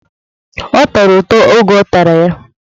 Ọ tọrọ ụtọ oge ọ tara ya.